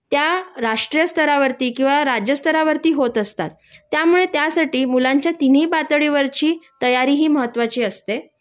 त्या राष्टीय स्तरावती किंवा राज्यस्तरावरती होत असतात त्यामुळे त्यासाठी मुलांच्या तिन्ही पातळीवरची तयारी ही महत्वाची असते